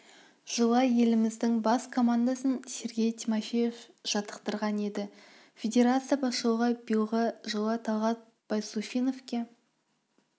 жылы еліміздің бас командасын сергей тимофеев жаттықтырған еді федерация басшылығы биылғы жылы талғат байсуфиновке